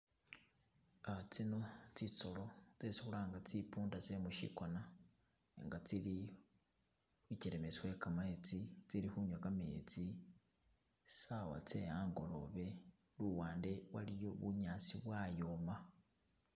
Uh tsino tsisolo tsesi khulanga tsipunda tse musikoona nga tsili ichelemesi we kametsi tsili khunywa kametsi saawa tse angolobe , luwande waliyo bunyaasi bwayoma